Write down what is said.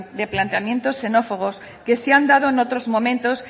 de planteamientos xenófobos que se han dado en otros momentos